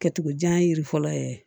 Kɛcogo jan yiri fɔlɔ ye